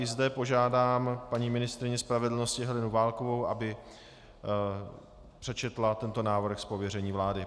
I zde požádám paní ministryni spravedlnosti Helenu Válkovou, aby přečetla tento návrh z pověření vlády.